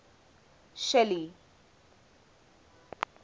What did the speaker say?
shelly